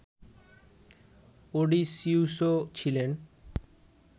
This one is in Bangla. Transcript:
অডিসিউসও ছিলেন